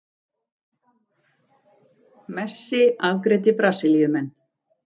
Messi afgreiddi Brasilíumenn